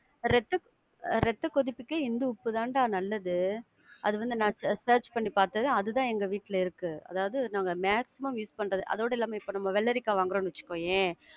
ரத்த, ரத்த கொதிப்புக்கு இந்துப்பு தான்டா நல்லது. அது வந்து நான் search பண்ணி பாத்து, அது தான் எங்க வீட்ல இருக்கு. அதாவது நாங்க maximum use பண்றது. அதோட இல்லாம, இப்போ நம்ம வெள்ளரிக்காய் வாங்குறோம் வச்சிக்கோயேன்~